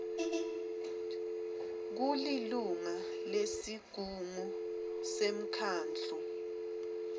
kulilunga lesigungu semkhandlu